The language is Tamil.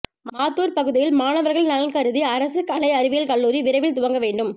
மாத்தூர் பகுதியில் மாணவர்கள் நலன்கருதி அரசு கலை அறிவியல் கல்லூரி விரைவில் துவங்க வேண்டும்